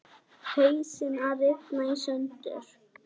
Hausinn að rifna í sundur.